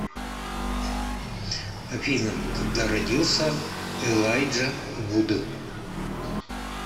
афина когда родился элайджа вуд